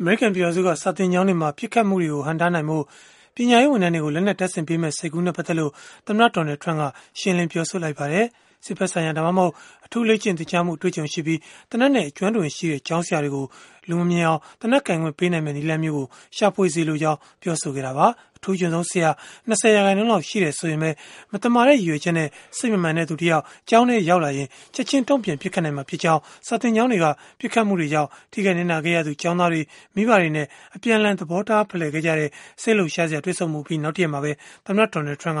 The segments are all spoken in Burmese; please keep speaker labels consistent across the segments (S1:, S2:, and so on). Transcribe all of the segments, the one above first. S1: အမေရိကန် ပြည်ထောင်စုက စာသင်ကျောင်းတွေမှာ ပစ်ခတ်မှုတွေကို ဟန့်တားနိုင်ဖို့ ပညာရေး ဝန်ထမ်းတွေကို လက်နက်တပ်ဆင်ပေးမယ့် စိတ်ကူးနဲ့ ပတ်သက်လို့ ရှင်းရှင်းလင်းလင်းဖြစ်အောင် သမ္မတ Donald Trump က ကြိုးစားလိုက်ပါတယ်။ စစ်ဘက်ဆိုင်ရာ ဒါမှမဟုတ် အထူးလေ့ကျင့် သင်ကြားမှု အတွေ့အကြုံရှိပြီး သေနတ်နဲ့ အကျွမ်းတဝင်ရှိတဲ့ ကျောင်းဆရာတွေကို လူမမြင်အောင် သေနတ်ကိုင်ခွင့် ပေးနိုင်မယ့် နည်းလမ်းမျိုးကို ရှာဖွေစေလိုကြောင်း ပြောဆိုခဲ့တာပါ။ အထူးချွန်ဆုံး ဆရာ ၂၀% လောက် ရှိတယ်ဆိုရင်ပဲ၊ မသမာတဲ့ ရည်ရွယ်ချက်နဲ့ စိတ်မမှန်တဲ့သူတယောက် ကျောင်းထဲရောက်လာရင်၊ ချက်ခြင်းတုံ့ပြန် ပစ်ခတ်နိုင်မှာဖြစ်ကြောင်း စာသင်ကျောင်းတွေက ပစ်ခတ်မှုတွေကြောင့် ထိခိုက်နစ်နာခဲ့ရသူ ကျောင်းသားတွေ၊ မိဘတွေနဲ့ အပြန်အလှန် သဘောထား ဖလှယ်ခဲ့ကြတဲ့ စိတ်လှုပ်ရှားစရာ တွေ့ဆုံမှုအပြီး နောက်တရက်မှာပဲ သမ္မတ Trump က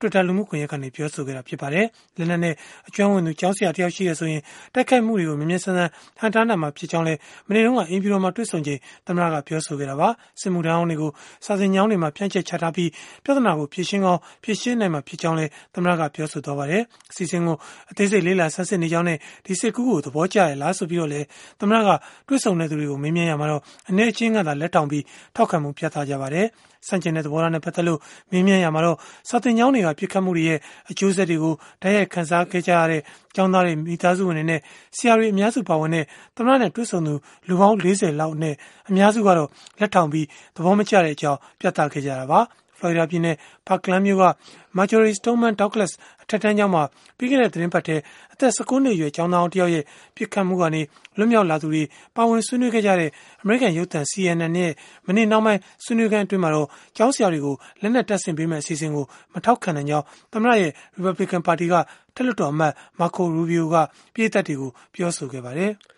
S1: Twitter လူမှုကွန်ယက်ကနေ ပြောဆိုခဲ့ပါတယ်။ လက်နက်နဲ့ အကျွမ်းဝင်သူ ကျောင်းဆရာတယောက် ရှိတယ်ဆိုရင်၊ တိုက်ခိုက်မှုတွေကို မြန်မြန်ဆန်ဆန် ဟန့်တားနိုင်မှာဖြစ်ကြောင်းလည်း မနေ့တုန်းက အိမ်ဖြူတော်မှာ တွေ့ဆုံချိန် သမ္မတက ပြောဆိုခဲ့တာပါ။ စစ်မှုထမ်းဟောင်းတွေကို စာသင်ကျောင်းတွေမှာ ဖြန့်ကြတ် ချထားပြီး ပြဿနာကို ဖြေရှင်းကောင်း ဖြေရှင်းနိုင်မှာဖြစ်ကြောင်းလည်း သမ္မတက ပြောဆိုခဲ့ပါတယ်။ အစီအစဉ်ကို အသေးစိတ် လေ့လာဆန်းစစ် နေကြောင်းနဲ့ ဒီစိတ်ကူးကို သဘောကျကြရဲ့လား ဆိုပြီးတော့လည်း သမ္မတက တွေ့ဆုံသူတွေကို မေးမြန်းရာမှာတော့ အနည်းအကျဉ်းကသာ လက်ထောင်ပြီး၊ ထောက်ခံမှု ပြသခဲ့ကြပါတယ်။ ဆန့်ကျင်တဲ့ သဘောထားနဲ့ ပတ်သက်လို့ မေးမြန်းရာမှာတော့ စာသင်ကျောင်းတွေက ပစ်ခတ်မှုတွေရဲ့ အကျိုးဆက်တွေကို တိုက်ရိုက်ခံစားခဲ့ရတဲ့ ကျောင်းသားတွေ၊ မိသားစုဝင်တွေနဲ့ ဆရာတွေ အများစုပါဝင်တဲ့ သမ္မတနဲ့ တွေ့ဆုံသူ လူပေါင်း ၄၀ လောက်အနက် အများစုကတော့ လက်ထောင်ပြီး သဘောမကျတဲ့အကြောင်း ပြသခဲ့ကြတာပါ။ ဖလော်ရီဒါပြည်နယ် Parkland မြို့က၊ Marjory Stoneman Douglas အထက်တန်းကျောင်းမှာ ပြီးခဲ့တဲ့ သီတင်းပတ်ထဲ အသက် ၁၉ နှစ်အရွယ် ကျောင်းသားဟောင်း တယောက်ရဲ့ ပစ်ခတ်မှုကနေ လွတ်မြောက်လာသူတွေ ပါဝင်ဆွေးနွေးခဲ့တဲ့ အမေရိကန်ရုပ်သံ CNN ရဲ့ မနေ့နှောင်းပိုင်း ဆွေးနွေးခန်းမှာတော့ ကျောင်းဆရာတွေကို လက်နက်တပ်ဆင်ပေးမယ့် အစီအစဉ်ကို မထောက်ခံနိုင်ကြောင်း သမ္မတရဲ့ ရီပတ်ဘလစ်ကန် ပါတီက အထက်လွှတ်တော်အမတ် Marco Rubio က ပရိတ်သတ်တွေကို ပြောဆိုခဲ့ပါတယ်။